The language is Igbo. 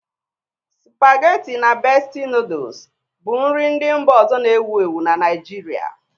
Supageti na Besti nọdụs bụ nri ndị mba ọzọ na-ewu ewu na Naịjirịa.